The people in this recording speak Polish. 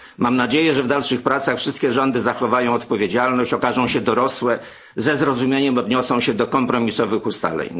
Mam nadzieję, że w dalszych pracach wszystkie rządy zachowają odpowiedzialność, okażą się dorosłe i ze zrozumieniem odniosą się do kompromisowych ustaleń.